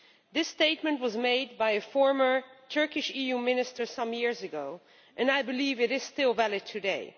This statement was made by a former Turkish EU Minister some years ago, and I believe it is still valid today.